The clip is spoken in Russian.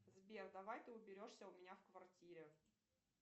сбер давай ты уберешься у меня в квартире